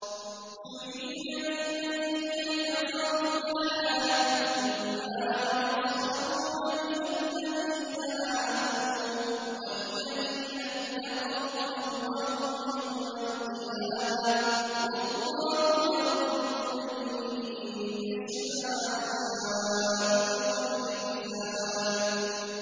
زُيِّنَ لِلَّذِينَ كَفَرُوا الْحَيَاةُ الدُّنْيَا وَيَسْخَرُونَ مِنَ الَّذِينَ آمَنُوا ۘ وَالَّذِينَ اتَّقَوْا فَوْقَهُمْ يَوْمَ الْقِيَامَةِ ۗ وَاللَّهُ يَرْزُقُ مَن يَشَاءُ بِغَيْرِ حِسَابٍ